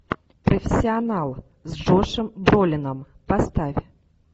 профессионал с джошем бролином поставь